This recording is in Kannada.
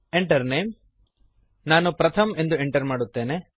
Enter Name ನಾನು ಪ್ರಥಮ್ ಎಂದು ಎಂಟರ್ ಮಾಡುತ್ತೇನೆ